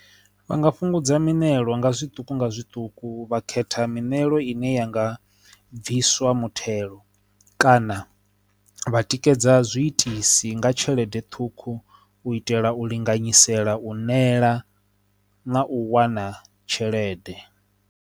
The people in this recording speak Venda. Vha nga fhungudza mineraḽa nga zwiṱuku nga zwiṱuku vha khetha mitshelo ine yanga bviswa muthelo kana vha tikedza zwiitisi nga tshelede ṱhukhu u itela u linganyisa shela u nela na u wana tshelede.